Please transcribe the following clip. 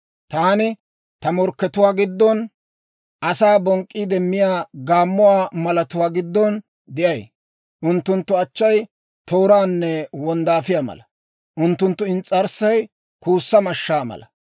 Taani ta morkkatuwaa giddon, asaa bonk'k'iide miyaa gaammuwaa malatuwaa giddon de'ay. Unttunttu achchay tooraanne wonddaafiyaa mala; unttunttu ins's'arssay kuussa mashshaa mala.